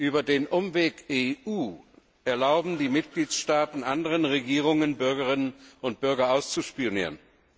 Über den Umweg EU erlauben die Mitgliedstaaten anderen Regierungen, Bürgerinnen und Bürger auszuspionieren.